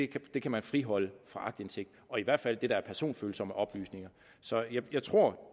kan man friholde for aktindsigt i hvert fald det der er personfølsomme oplysninger så jeg tror